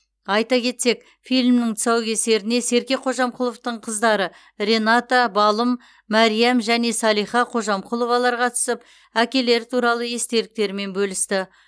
айта кетсек фильмнің тұсаукесеріне серке қожамқұловтың қыздары рената балым мәриам және салиха қожамқұловалар қатысып әкелері туралы естеліктерімен бөлісті